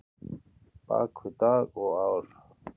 bak við dag og ár?